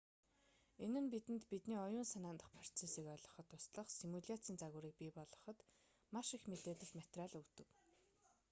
энэ нь бидэнд бидний оюун санаан дахь процессыг ойлгоход туслах симуляцийн загваруудыг бий болгоход маш их мэдээлэл материал өгдөг